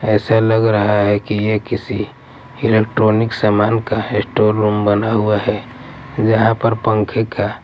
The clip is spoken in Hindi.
ऐसा लग रहा है कि ये किसी इलेक्ट्रॉनिक सामान का स्टोर रूम बना हुआ है जहाँ पर पंखे का--